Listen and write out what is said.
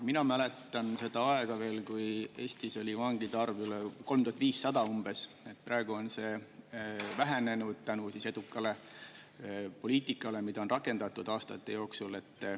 Mina mäletan veel seda aega, kui Eestis oli vangide arv 3500 umbes, praegu on see vähenenud tänu edukale poliitikale, mida on rakendatud aastate jooksul.